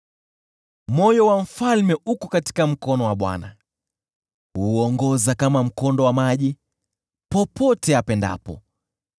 Moyo wa mfalme uko katika mkono wa Bwana ; huuongoza kama mkondo wa maji, popote apendapo.